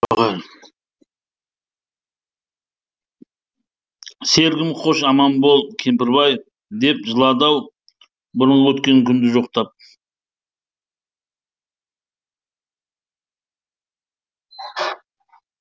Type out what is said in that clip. серігім хош аман бол кемпірбай деп жылады ау бұрынғы өткен күнді жоқтап